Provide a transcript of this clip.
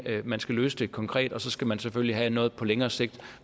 man skal løse det konkret og så skal man selvfølgelig have noget på længere sigt